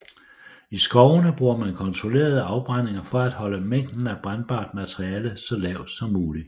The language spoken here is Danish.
I skovene bruger man kontrollerede afbrændinger for at holde mængden af brændbart materiale så lav som mulig